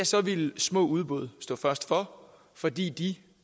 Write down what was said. så ville små udbud stå først for fordi de